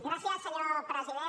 gràcies senyor president